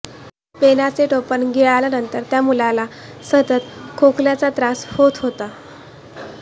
पेनाचे टोपन गिळाल्यानंतर त्या मुलाला सतत खोकल्याचा त्रास होत होता